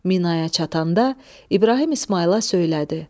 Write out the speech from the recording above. Minaya çatanda İbrahim İsmayıla söylədi: